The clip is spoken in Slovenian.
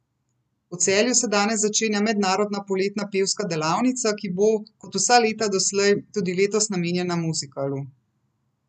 V Celju se danes začenja mednarodna poletna pevska delavnica, ki bo, kot vsa leta doslej, tudi letos namenjena muzikalu.